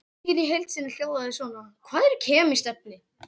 Spurningin í heild sinni hljóðaði svona: Hvað eru kemísk efni?